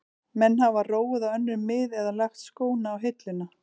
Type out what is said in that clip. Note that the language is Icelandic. Menn hafa róið á önnur mið eða lagt skóna á hilluna.